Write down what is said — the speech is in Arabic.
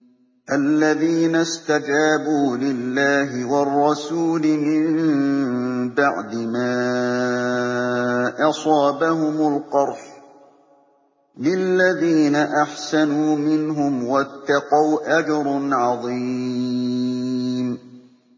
الَّذِينَ اسْتَجَابُوا لِلَّهِ وَالرَّسُولِ مِن بَعْدِ مَا أَصَابَهُمُ الْقَرْحُ ۚ لِلَّذِينَ أَحْسَنُوا مِنْهُمْ وَاتَّقَوْا أَجْرٌ عَظِيمٌ